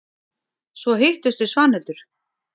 Svo hittumst við Svanhildur.